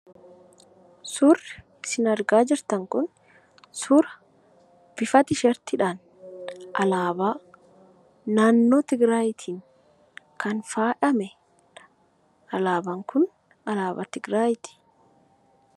Suurri isin argaa jirtan kun suura bifa tiishartiidhaan alaabaa naannoo Tigraayiti kan faayamedha. Alaabaan kun alaabaa Tigraayiiti.